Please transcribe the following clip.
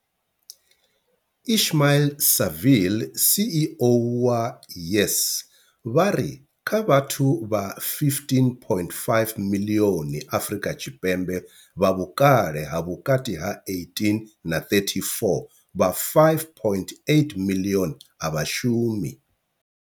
Ismail-Saville CEO wa YES, vha ri kha vhathu vha 15.5 miḽioni Afrika Tshipembe vha vhukale ha vhukati ha 18 na 34, vha 5.8 miḽioni a vha shumi.